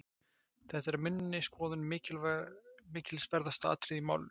Þetta er að minni skoðun mikilsverðasta atriðið í málinu.